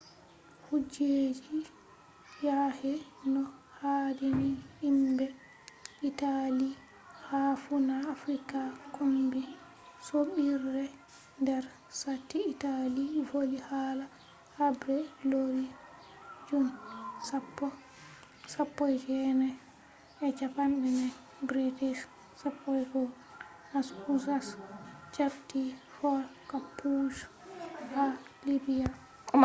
kujeji yahai no haadini himɓe italy ha fuuna afrika kombi soɓɓiire. nder sati italy voli hala habre leuru jun 10 1940 british 11th husas japti fort kapuzzo ha libya